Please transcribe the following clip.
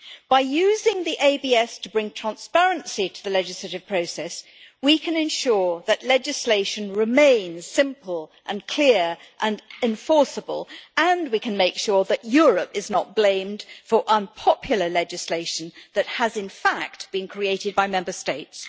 By using the ABS to bring transparency to the legislative process, we can ensure that legislation remains simple, clear and enforceable and we can make sure that Europe is not blamed for unpopular legislation that has, in fact, been created by Member States.